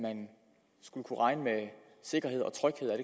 skulle kunne regne med sikkerhed og tryghed er